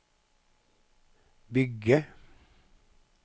bygge